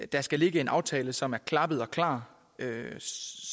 der skal ligge en aftale som er klappet og klar